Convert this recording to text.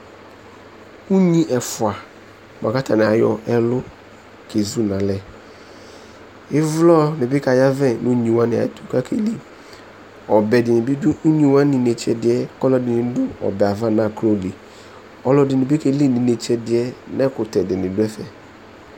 Unyi ɛfua boa kʋ atani ayɔ ɛlʋ kezu n'alɛ Ivlɔ di ni bi kayavɛ nʋ unyi wani ɛtʋ kʋ akeli Ɔbɛ di ni bi dʋ une wani inetsɛ ɛdiɛ, kʋ ɔlɔdini dʋ ɛbɛ yɛ ava nʋ akʋlɔ li Ɔlɔdi ni bi keli nʋ inetsɛ ɛdiɛ kʋ ɛkʋtɛ di ni dʋ ɛfɛ